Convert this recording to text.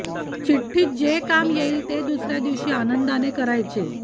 चिठ्ठीत जे काम येईल ते दुसऱ्या दिवशी आनंदाने करायचे